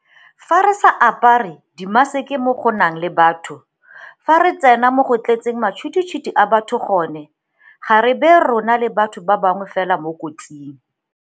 Fa re sa apare dimaseke mo go nang le batho, fa re tsena mo go tletseng matšhwititšhwiti a batho gone, ga re baye rona le batho ba bangwe fela mo kotsing.